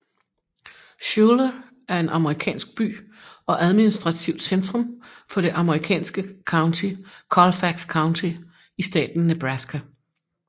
Schuyler er en amerikansk by og administrativt centrum for det amerikanske county Colfax County i staten Nebraska